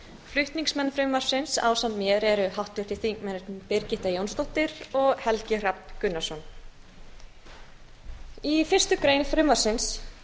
flutningsmenn frumvarpsins ásamt mér háttvirtir þingmenn birgitta jónsdóttir og helgi hrafn gunnarsson í fyrstu grein frumvarpsins